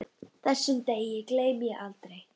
Þessum degi gleymi ég aldrei.